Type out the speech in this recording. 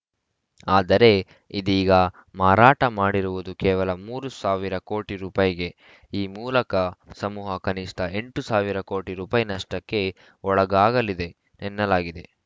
ಆದರೆ ಇದೀಗ ಮಾರಾಟ ಮಾಡಿರುವುದು ಕೇವಲ ಮೂರ್ ಸಾವಿರ ಕೋಟಿ ರೂಪಾಯಿ ಗೆ ಈ ಮೂಲಕ ಸಮೂಹ ಕನಿಷ್ಠ ಎಂಟ್ ಸಾವಿರ ಕೋಟಿ ರೂಪಾಯಿನಷ್ಟಕ್ಕೆ ಒಳಗಾಗಲಿದೆ ಎನ್ನಲಾಗಿದೆ